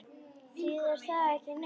Þýðir það ekki neitt?